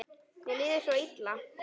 Mér líður svo illa